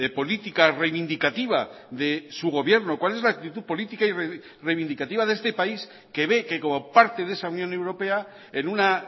política reivindicativa de su gobierno cuál es la actitud política y reivindicativa de este país que ve que como parte de esa unión europea en una